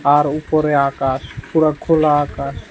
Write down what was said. তার উপরে আকাশ পুরা খোলা আকাশ।